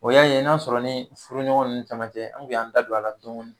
O y'a ye n'a sɔrɔ ni furuɲɔgɔn ni caman tɛ an koun y'an da don a la dɔɔni